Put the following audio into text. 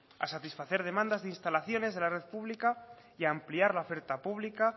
a satisfacer demandas de instalaciones de la red pública y ampliar la oferta pública